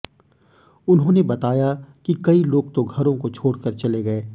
उन्होंने बताया कि कई लोग तो घरों को छोड़कर चले गए